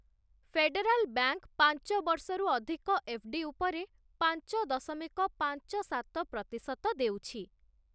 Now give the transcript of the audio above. Federal bank ପାଞ୍ଚ ବର୍ଷରୁ ଅଧିକ ଏଫ୍‌ଡ଼ି ଉପରେ ପାଞ୍ଚ ଦଶମିକ ପାଞ୍ଚ ସାତ ପ୍ରତିଶତ ଦେଉଛି ।